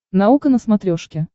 наука на смотрешке